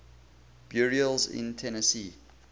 burials in tennessee